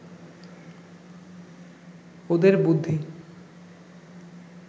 ওদের বুদ্ধি